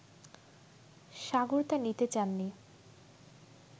সাগর তা নিতে চাননি